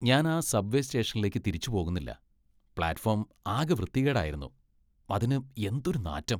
ഞാൻ ആ subway സ്റ്റേഷനിലേക്ക് തിരിച്ച് പോകുന്നില്ല. പ്ലാറ്റ്ഫോം ആകെ വൃത്തികേടായിരുന്നു , അതിനു എന്തൊരു നാറ്റം .